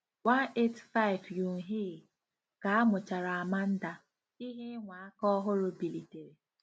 185 Yoonhee: Ka amuchara Amanda, ihe ịnwa aka ọhụrụ bilitere.